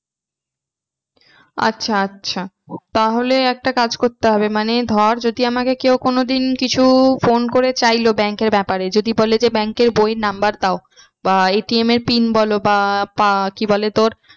আচ্ছা আচ্ছা তাহলে একটা কাজ করতে হবে মানে ধর যদি আমাকে কেউ কোনোদিন কিছু phone করে চাইলো bank এর ব্যাপারে যদি বলে যে bank এর বইয়ের number দাও বা ATM এর pin বলো বা পা কি বলে তোর